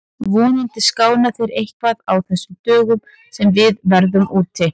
Vonandi skána þeir eitthvað á þessum dögum sem við verðum úti.